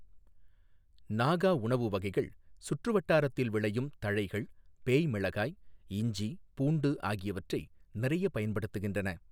நாகா உணவு வகைகள் சுற்று வட்டாரத்தில் விளையும் தழைகள், பேய் மிளகாய், இஞ்சி, பூண்டு ஆகியவற்றை நிறைய பயன்படுத்துகின்றன.